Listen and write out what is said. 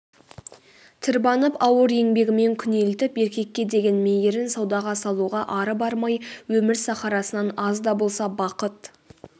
тырбанып ауыр еңбегімен күнелтіп еркекке деген мейірін саудаға салуға ары бармай өмір сахарасынан аз да болса бақыт